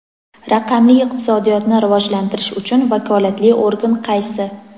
Raqamli iqtisodiyotni rivojlantirish uchun vakolatli organ qaysi?.